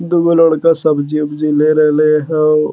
दुगो लड़का सब्जी-उब्जी ले रहले हो।